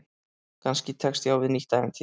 Kannski tekst ég á við nýtt ævintýri.